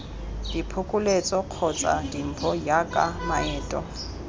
diphokoletso kgotsa dimpho jaaka maeto